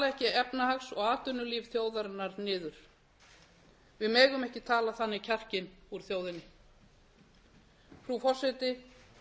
ekki efnahags og atvinnulíf þjóðarinnar niður við megum ekki tala þannig kjarkinn úr þjóðinni frú forseti